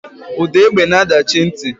Ude egbe na adachi nti.